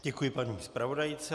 Děkuji paní zpravodajce.